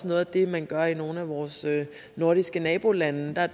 noget af det man gør i nogle af vores nordiske nabolande der er